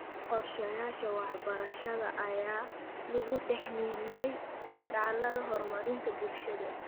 Qorshayaasha waxbarashada ayaa lagu dhex milmay dadaallada horumarinta bulshada.